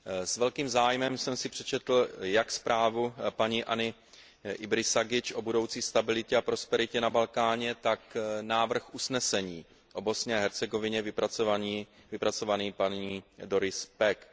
S velkým zájmem jsem si přečetl jak zprávu paní Anny Ibrisagič o budoucí stabilitě a prosperitě na Balkáně, tak návrh usnesení o Bosně a Hercegovině vypracovaný paní Doris Packovou.